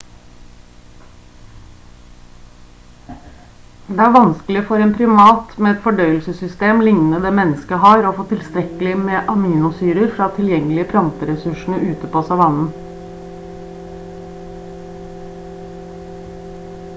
det er vanskelig for en primat med et fordøyelsessystem lignende det mennesker har å få tilstrekkelig med aminosyrer fra de tilgjengelige planteressursene ute på savannen